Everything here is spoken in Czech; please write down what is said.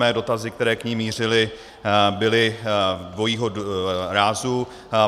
Moje dotazy, které k ní mířily, byly dvojího rázu.